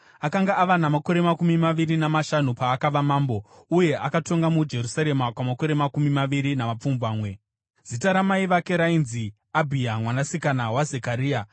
Akanga ava namakore makumi maviri namashanu paakava mambo, uye akatonga muJerusarema kwamakore makumi maviri namapfumbamwe. Zita ramai vake rainzi Abhiya mwanasikana waZekaria.